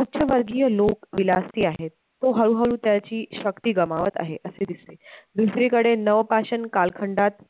उच्चवर्गीय लोक विलासी आहेत, तो हळूहळू त्याची शक्ती गमावत आहे असे दिसते, दुसरी कडे नवपाषाण कालखंडात